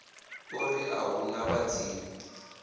ori a hu na vhadzimu